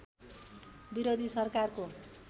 विरोधी सरकारको